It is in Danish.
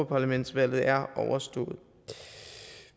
parlamentet er overstået